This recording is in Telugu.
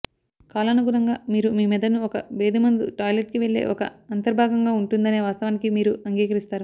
కాలానుగుణంగా మీరు మీ మెదడును ఒక భేదిమందు టాయిలెట్కి వెళ్ళే ఒక అంతర్భాగంగా ఉంటుందనే వాస్తవానికి మీరు అంగీకరిస్తారు